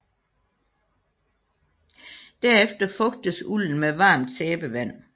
Derefter fugtes ulden med varmt sæbevand